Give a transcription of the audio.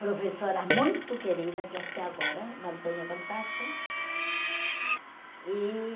professoras muito queridas que até agora mantenho contato. E